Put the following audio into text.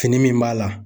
Fini min b'a la